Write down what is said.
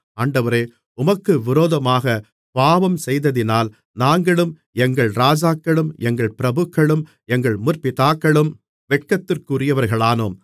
ஆண்டவரே உமக்கு விரோதமாகப் பாவஞ்செய்ததினால் நாங்களும் எங்கள் ராஜாக்களும் எங்கள் பிரபுக்களும் எங்கள் முற்பிதாக்களும் வெட்கத்திற்குரியவர்களானோம்